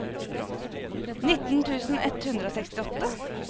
nitten tusen ett hundre og sekstiåtte